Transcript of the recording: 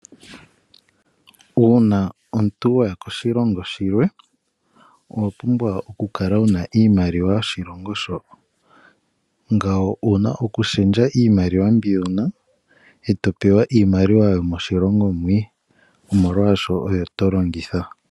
Uuna omuntu waya koshilongo shilwe, owa pumbwa oku kala wa pewa iimaliwa yomoshilongo mo. Ngawo owa pumbwa oku shendja iimaliwa yoshilongo sho eto pewa iimaliwa yomoshilongo mwii nomolwaasho oyo to longitha.